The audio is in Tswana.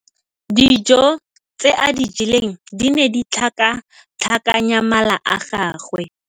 Dijô tse a di jeleng di ne di tlhakatlhakanya mala a gagwe.